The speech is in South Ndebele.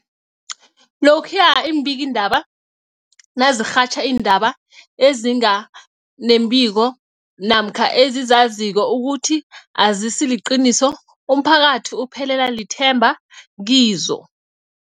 Lokhuya iimbikiindaba nazirhatjha iindaba ezinga nembiko namkha ezizaziko ukuthi azisiliqiniso, umphakathi uphelelwa lithemba kizo.